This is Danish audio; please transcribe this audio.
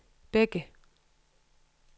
Bække